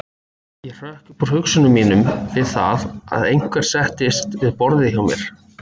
Ég hrökk upp úr hugsunum mínum við það að einhver settist við borðið hjá mér.